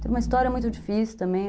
Teve uma história muito difícil também.